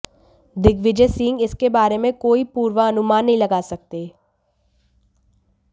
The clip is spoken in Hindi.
दिग्विजय सिंह इसके बारे में कोई पूर्वानुमान नहीं लगा सकते